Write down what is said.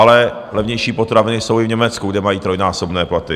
Ale levnější potraviny jsou i v Německu, kde mají trojnásobné platy.